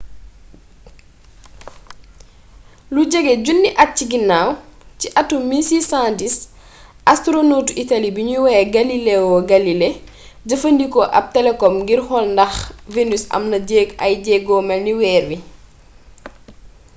lu jege junniy at ci ginnaw ci atum 1610 astronotu italiyee biñuy woowee galileo galilei jëfandikoo ab telekop ngir xool ndax venus am na ay jéego melni weer wi